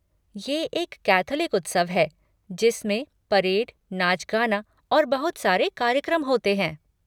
ये एक कैथोलिक उत्सव है जिसमें परेड, नाच गाना और बहुत सारे कार्यक्रम होते हैं।